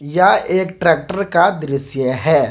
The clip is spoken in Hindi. यह एक ट्रैक्टर का दृश्य है।